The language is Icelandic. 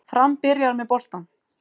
Fram byrjar með boltann